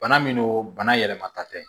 Bana min don bana yɛlɛmata tɛ